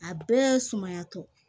A bɛɛ sumayatɔ